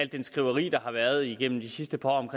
det skriveri der har været igennem de sidste par år om